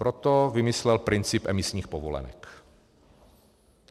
Proto vymyslel princip emisních povolenek.